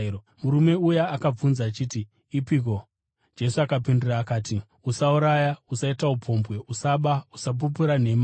Murume uya akabvunza achiti, “Ipiko?” Jesu akapindura akati, “ ‘Usauraya, usaita upombwe, usaba, usapupura nhema.